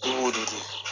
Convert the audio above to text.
I b'o de dun